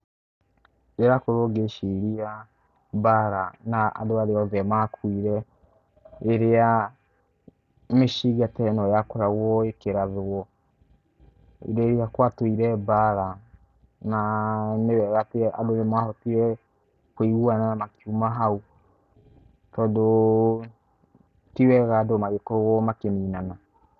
Ndĩrakorwo ngĩciria mbara, na andũ arĩa othe makũire rĩrĩa mĩcinga te no yakoragwo ĩkĩrathwo, hĩndĩ ĩrĩa gwatũira mbara, na nĩ wega atĩ andũ nĩ mahotire kũiguana makiuma hau, tondũ ti wega andũ magĩkorwo makĩninana.